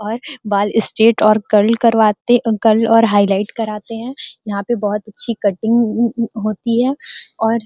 और बाल स्ट्रैट और कर्ल करवाते कर्ल और हाईलाइट कराते है यहाँ पे बहुत अच्छी कटिंग होती है और --